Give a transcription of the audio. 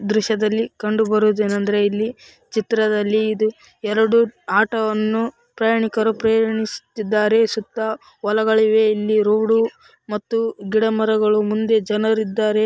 ಈ ದೃಶ್ಯದಲ್ಲಿ ಕಂಡುಬರುವುದು ಏನೆಂದರೆ ಇಲ್ಲಿ ಚಿತ್ರದಲ್ಲಿ ಇದು ಎರಡು ಆಟೋವನ್ನು ಪ್ರಯಾಣಿಕರು ಪ್ರಯಾಣಿಸುತ್ತಿದ್ದಾರೆ ಸುತ್ತಾ ವಲಗಳು ಇವೆ ಈ ರೋಡ್‌ ಮತ್ತೆ ಗಿಡಮರಗಳು ಮತ್ತು ಮುಂದೆ ಜನರಿದ್ದಾರೆ.